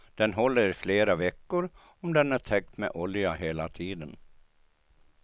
Den håller i flera veckor om den är täckt med olja hela tiden.